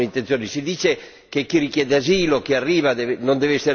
Si dice che chi richiede asilo, chi arriva, non deve essere trattenuto.